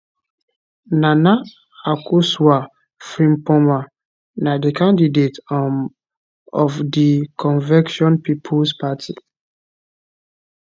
nana akosua frimpomaa na di candidate um of di convention peoples party